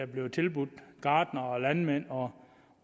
bliver tilbudt gartnere og landmænd